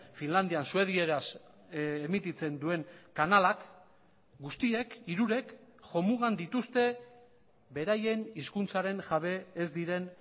finlandian suedieraz emititzen duen kanalak guztiek hirurek jomugan dituzte beraien hizkuntzaren jabe ez diren